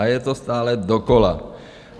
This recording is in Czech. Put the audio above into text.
A je to stále dokola.